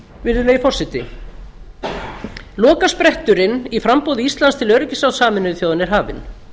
virðulegi forseti lokaspretturinn í framboði íslands til öryggisráðs á er hafinn